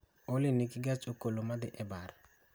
Olly nigi gach okoloma dhi e bar